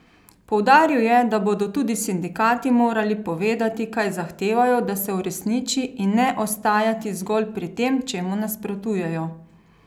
Poudaril je, da bodo tudi sindikati morali povedati, kaj zahtevajo, da se uresniči, in ne ostajati zgolj pri tem, čemu nasprotujejo.